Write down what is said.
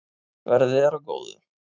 Verði þér að góðu.